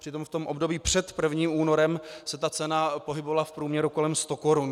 Přitom v tom období před 1. únorem se ta cena pohybovala v průměru kolem 100 korun.